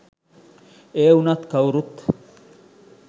ඒවුනත් කව්රුත්